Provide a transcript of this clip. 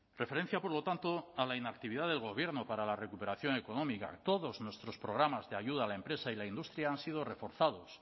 referencia por lo tanto a la inactividad del gobierno para la recuperación económica todos nuestros programas de ayuda a la empresa y la industria han sido reforzados